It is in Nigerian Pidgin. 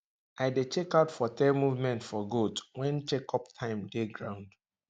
i dey check out for tail movement for goat when check up time dey ground